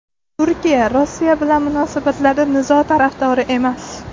Turkiya Rossiya bilan munosabatlarda nizo tarafdori emas.